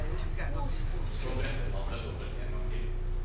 Og så brettet han det dobbelt en gang til.